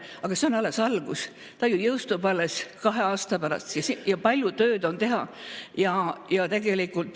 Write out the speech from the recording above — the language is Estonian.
Aga see on alles algus, ta ju jõustub alles kahe aasta pärast ja palju tööd on teha.